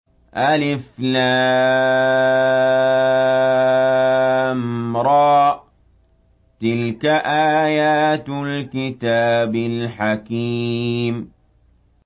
الر ۚ تِلْكَ آيَاتُ الْكِتَابِ الْحَكِيمِ